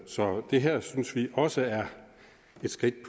så det her synes vi også er et skridt